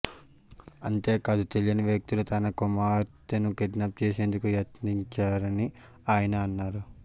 అంతే కాదు తెలియని వ్యక్తులు తన కుమార్తెను కిడ్నాప్ చేసేందుకు యత్నించారని ఆయన అన్నారు